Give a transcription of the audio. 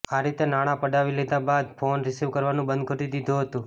આ રીતે નાણાં પડાવી લીધા બાદ ફોન રિસિવ કરવાનું બંધ કરી દીધું હતુ